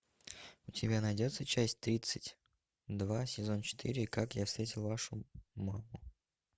у тебя найдется часть тридцать два сезон четыре как я встретил вашу маму